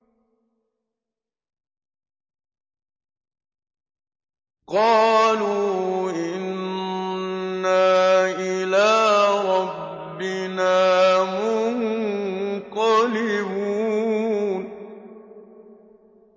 قَالُوا إِنَّا إِلَىٰ رَبِّنَا مُنقَلِبُونَ